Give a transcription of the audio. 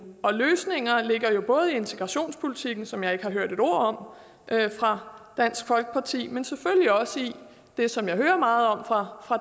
og løsninger ligger jo både i integrationspolitikken som jeg ikke har hørt et ord om fra dansk folkeparti men selvfølgelig også i det som jeg hører meget om fra